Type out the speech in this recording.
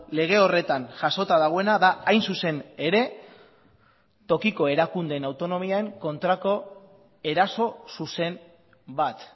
lege horretan jasota dagoena da hain zuzen ere tokiko erakundeen autonomien kontrako eraso zuzen bat